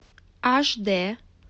аш дэ